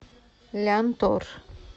лянтор